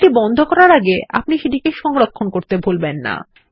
ফাইলটি বন্ধ করার আগে আপনি সেটি সংরক্ষণ করতে ভুলবেন না